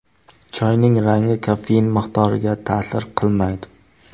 Choyning rangi kofein miqdoriga ta’sir qilmaydi.